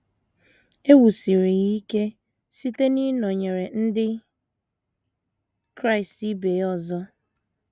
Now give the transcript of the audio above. E wusiri ya ike site n’ịnọnyere ndị Kraịst ibe ya ọzọ.